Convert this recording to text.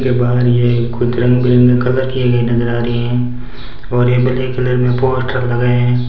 फिर बाहर ये कुछ रंग बिरंगे कलर किए गए नजर आ रही हैं और ये ब्लैक कलर में पोस्टर लगे हैं।